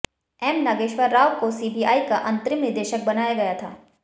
M Nageswara Rao को CBI का अंतरिम निदेशक बनाया गया था